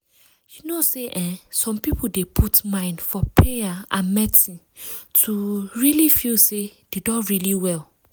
you know say eeh some people dey put mind for payer and medicine to um really feel say dem don really well.